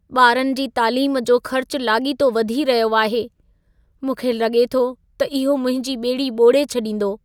ॿारनि जी तालीम जो ख़र्चु लाॻीतो वधी रहियो आहे। मूंखे लॻे थो त इहो मुंहिंजी ॿेड़ी ॿोड़े छॾींदो।